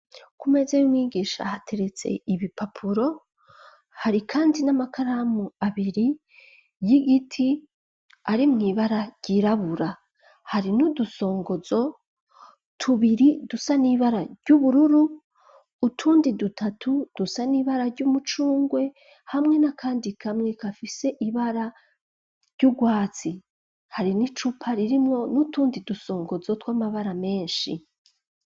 Kumeze yo wigisha hateretse ibipapuro hari kandi n'amakaramu abiri y'igiti ari mu ibara ryirabura hari n'udusongozo tubiri dusa n'ibara ry'ubururu utundi dutatu dusa n'ibara ry'umucungwe hamwe na kandi kamwe kafise ibara ry'ubwatsi harimwo n'icupa ririmwo n'utundi dusongozo tw'amabara menshi.